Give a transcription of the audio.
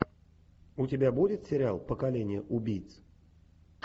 у тебя будет сериал поколение убийц